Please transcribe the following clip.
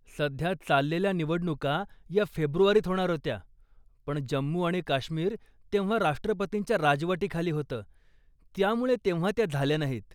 सध्या चाललेल्या निवडणुका ह्या फेब्रुवारीत होणार होत्या, पण जम्मू आणि काश्मीर तेव्हा राष्ट्रपतींच्या राजवटीखाली होतं, त्यामुळं तेव्हा त्या झाल्या नाहीत.